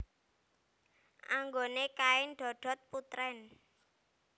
Anggone kain dodot putrèn